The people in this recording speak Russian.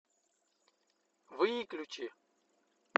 выключи